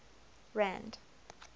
rand